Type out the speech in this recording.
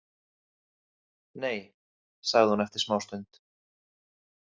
Nei, sagði hún eftir smástund.